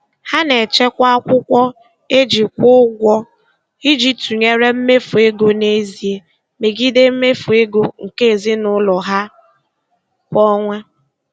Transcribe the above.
Ha na-echekwa akwụkwọ e ji kwụ ụgwọ iji tụnyere mmefu ego n'ezie megide mmefu ego nke ezinụụlọ ha kwa ọnwa.